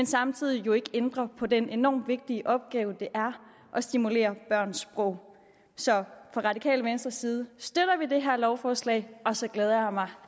samtidig jo ikke ændrer på den enormt vigtige opgave det er at stimulere børns sprog så fra radikale venstres side støtter vi det her lovforslag og så glæder jeg mig